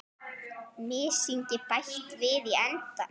Mysingi bætt við í endann.